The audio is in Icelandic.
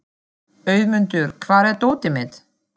Auðmundur, hvar er dótið mitt?